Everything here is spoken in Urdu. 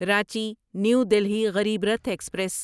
Ranchi new Delhi Garib Rath express